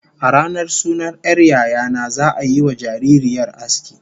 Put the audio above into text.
A ranar sunan 'yar yaya na, za'a yiwa jaririyar aski